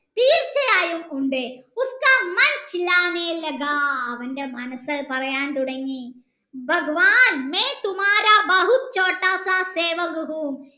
ഉണ്ട് അവൻ്റെ മനസ്സ് പറയാൻ തുടങ്ങി